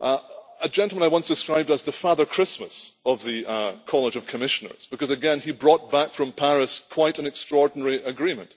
a gentleman I once described as the Father Christmas of the College of Commissioners because again he brought back from Paris quite an extraordinary agreement.